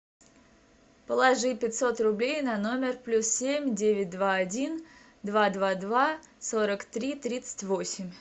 положи пятьсот рублей на номер плюс семь девять два один два два два сорок три тридцать восемь